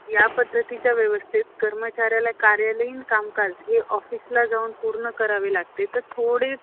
चिमणाजी भाडे हे विदुर होते. त्यांना अण्णांनी विवाह उद~ उद~ उद्युक्त केलं.